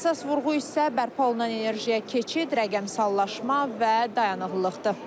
Əsas vurğu isə bərpa olunan enerjiyə keçid, rəqəmsallaşma və dayanıqlıqdır.